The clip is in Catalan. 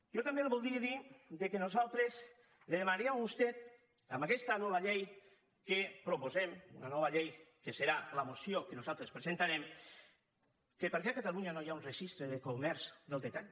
jo també li voldria dir que nosaltres li demanaríem a vostè en aquesta nova llei que proposem una nova llei que serà la moció que nosaltres presentarem que per què a catalunya no hi ha un registre de comerç al detall